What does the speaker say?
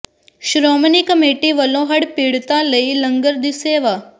Shiromani committee ਵੱਲੋਂ ਹੜ੍ਹ ਪੀੜਤਾਂ ਲਈ ਲੰਗਰ ਦੀ ਸੇਵਾ